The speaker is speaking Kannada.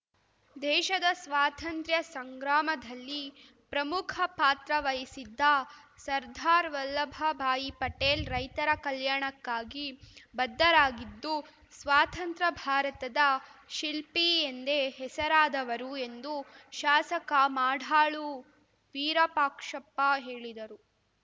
ದೇಶದ ಸ್ವಾತಂತ್ರ್ಯ ಸಂಗ್ರಾಮಧಲ್ಲಿ ಪ್ರಮುಖ ಪಾತ್ರ ವಹಿಸಿದ್ದ ಸರ್ದಾರ್‌ ವಲ್ಲಭ ಭಾಯ್‌ ಪಟೇಲ್‌ ರೈತರ ಕಲ್ಯಾಣಕ್ಕಾಗಿ ಬದ್ಧರಾಗಿದ್ದು ಸ್ವಾತಂತ್ರ ಭಾರತದ ಶಿಲ್ಪಿ ಎಂದೇ ಹೆಸರಾದವರು ಎಂದು ಶಾಸಕ ಮಾಡಾಳು ವಿರಾಪಾಕ್ಷಪ್ಪ ಹೇಳಿದರು